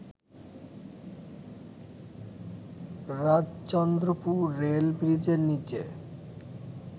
Rajchandrapur rail ব্রিজের নীচে